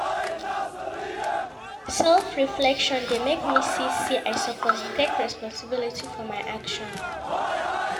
Self-reflection dey make me see sey I suppose take responsibility for my actions.